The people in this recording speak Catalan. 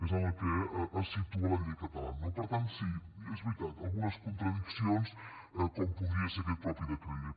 és en el que es situa la llei catalana no per tant sí és veritat algunes contradiccions com podria ser aquest mateix decret llei